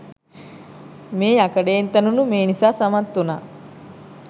මේ යකඩයෙන් තැනුණු මිනිසා සමත් වුණා